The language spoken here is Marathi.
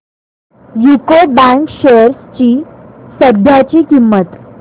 यूको बँक शेअर्स ची सध्याची किंमत